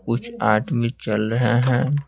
कुछ आदमी चल रहे हैं।